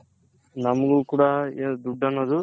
ನಮಗೂ ಕೂಡ ದುಡ್ದನ್ನೋದು